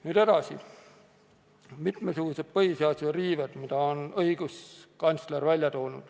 Nüüd mitmesugustest põhiseaduse riivetest, mille õiguskantsler on välja toonud.